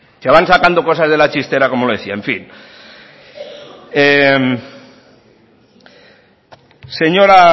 se van sacando cosas de la chistera como le decía en fin señora